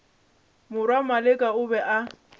morwa maleka o be a